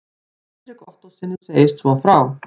Hendrik Ottóssyni segist svo frá